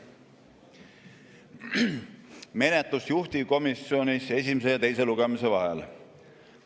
Menetlus juhtivkomisjonis esimese ja teise lugemise vahel.